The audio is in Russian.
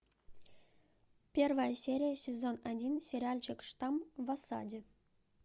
первая серия сезон один сериальчик штамм в осаде